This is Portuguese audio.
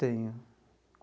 Tenho.